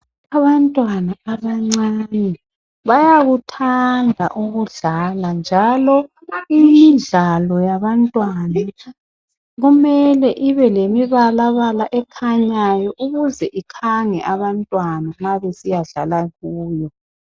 Abantwana abancane bayakuthanda ukudlala njalo imidlalo yabantwana kumele ibe lemibalabala ekhanyayo ukuze ikhange abantwana nxa besiyadlala kuyo.